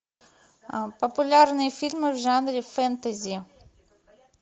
популярные фильмы в жанре фэнтези